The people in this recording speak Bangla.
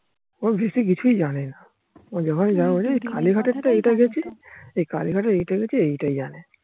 ও বেশি কিছুই জানে না